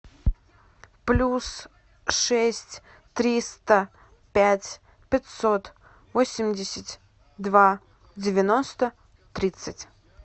плюс шесть триста пять пятьсот восемьдесят два девяносто тридцать